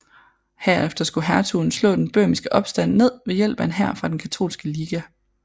Herefter skulle hertugen slå den bøhmiske opstand ned ved hjælp af en hær fra Den Katolske Liga